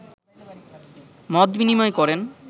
মতবিনিময় করেন